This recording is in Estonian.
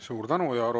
Suur tänu!